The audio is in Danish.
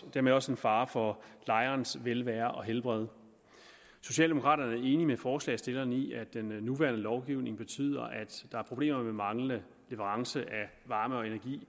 dermed også en fare for lejerens velvære og helbred socialdemokraterne er enige med forslagsstillerne i at den nuværende lovgivning betyder at der er problemer med manglende leverance af varme og energi